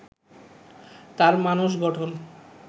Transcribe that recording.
তার মানস গঠন